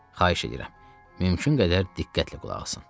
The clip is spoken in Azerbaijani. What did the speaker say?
Xahiş edirəm, mümkün qədər diqqətlə qulaq asın.